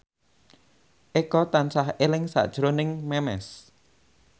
Eko tansah eling sakjroning Memes